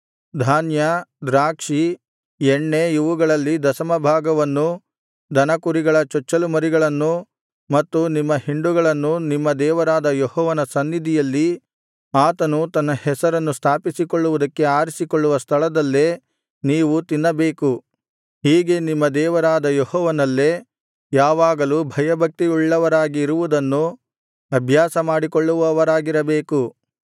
ಧಾನ್ಯ ದ್ರಾಕ್ಷಿ ಎಣ್ಣೆ ಇವುಗಳಲ್ಲಿ ದಶಮಭಾಗವನ್ನೂ ದನಕುರಿಗಳ ಚೊಚ್ಚಲು ಮರಿಗಳನ್ನೂ ಮತ್ತು ನಿಮ್ಮ ಹಿಂಡುಗಳನ್ನು ನಿಮ್ಮ ದೇವರಾದ ಯೆಹೋವನ ಸನ್ನಿಧಿಯಲ್ಲಿ ಆತನು ತನ್ನ ಹೆಸರನ್ನು ಸ್ಥಾಪಿಸಿಕೊಳ್ಳುವುದಕ್ಕೆ ಆರಿಸಿಕೊಳ್ಳುವ ಸ್ಥಳದಲ್ಲೇ ನೀವು ತಿನ್ನಬೇಕು ಹೀಗೆ ನಿಮ್ಮ ದೇವರಾದ ಯೆಹೋವನಲ್ಲೇ ಯಾವಾಗಲೂ ಭಯಭಕ್ತಿಯುಳ್ಳವರಾಗಿ ಇರುವುದನ್ನು ಅಭ್ಯಾಸ ಮಾಡಿಕೊಳ್ಳುವವರಾಗಿರಬೇಕು